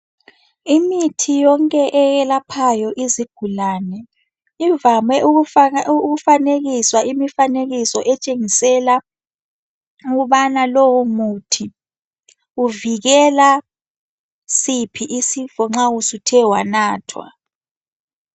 Imithi yonke eyelaphayo izigulane ivame ukufanekiswa imifanekiso etshengisele ukubana lowomuthi uvikela siphi isifo nxa uthe wanathwa.